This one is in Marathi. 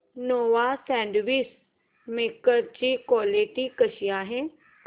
नोवा सँडविच मेकर ची क्वालिटी कशी आहे